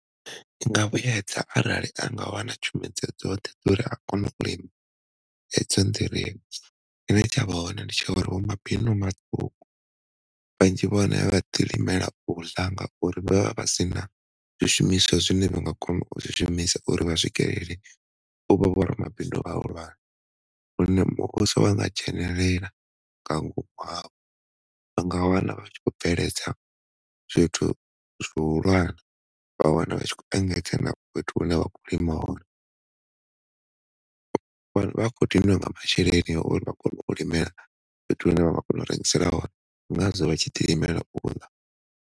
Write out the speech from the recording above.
Nga vhuedza arali a nga wana tshumedzo dzoṱhe uri a kone edzo nḓirivhe tshine tsha vha hone ndi tsha uri vho mabindu vhaṱuku vhanzhi vha hone vhaḓi limela u ḽa ngauri vha vha sina zwi shumiswa zwine vha ngo kona u zwi shumisa uri vha swikelele u vha vho ramabindu vhahulwane hune muvhuso wa nga dzhenelela nga ngomu unga wana vha tshi khou bveledza zwithu zwi hulwane vha wana vha tshi khou engedza na fhethu hune vha khou lima hone. Vha khou diniwa nga masheleni a uri vha kone u limela vhathu vhane vha vha rengisela vhone ndi ngazwo vha ḓi lineal u ḽa.